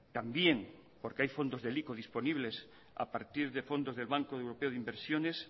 también porque hay fondos del ico disponibles a partir de fondos del banco europeo de inversiones